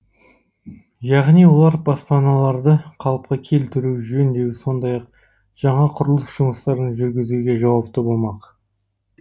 яғни олар баспаналарды қалыпқа келтіру жөндеу сондай ақ жаңа құрылыс жұмыстарын жүргізуге жауапты болмақ